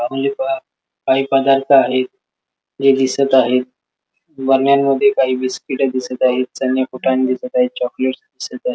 काही पदार्थ आहे जे दिसत आहे बराण्यांमद्धे काही बिस्कीट दिसत आहेत चणे फुटाने दिसत आहे चॉकलेट्स दिसत आहेत.